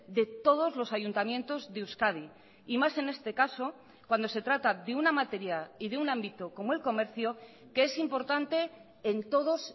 de todos los ayuntamientos de euskadi y más en este caso cuando se trata de una materia y de un ámbito como el comercio que es importante en todos